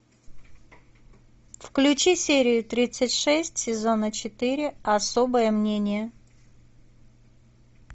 включи серию тридцать шесть сезона четыре особое мнение